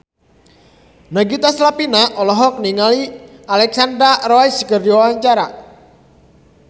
Nagita Slavina olohok ningali Alexandra Roach keur diwawancara